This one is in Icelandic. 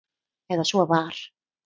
Eða svo var.